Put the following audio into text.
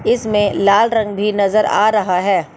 इसमें लाल रंग भी नजर आ रहा है।